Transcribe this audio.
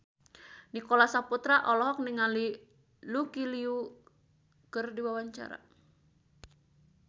Nicholas Saputra olohok ningali Lucy Liu keur diwawancara